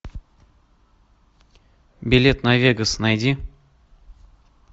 билет на вегас найди